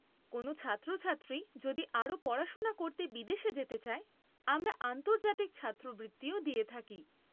কোনও ছাত্রছাত্রী যদি আরও পড়াশোনা করতে বিদেশে যেতে চায়, আমরা আন্তর্জাতিক ছাত্রবৃত্তিও দিয়ে থাকি।